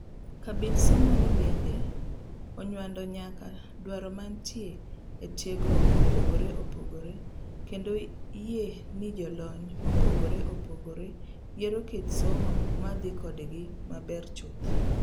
Kabind somoni bende onyuando nyaka duaro mmantie e tiegruok mopogre opogre kendo yie ni jolony mopogre opogre yiero kit somo ma didhi kodgi maber chuth.